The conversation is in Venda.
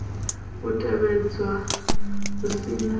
u tevhedzwa hu si na